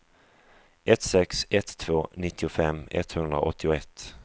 ett sex ett två nittiofem etthundraåttioett